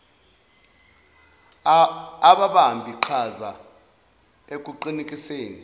ababambi qhaza ekuqinekiseni